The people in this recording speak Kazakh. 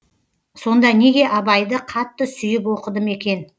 сонда неге абайды қатты сүйіп оқыдым екен